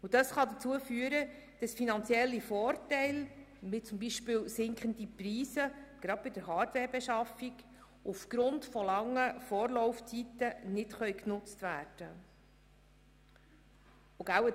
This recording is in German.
Dies kann dazu führen, dass finanzielle Vorteile, wie beispielsweise sinkende Preise gerade bei Hardwarebeschaffungen, aufgrund langer Vorlaufzeiten nicht genutzt werden können.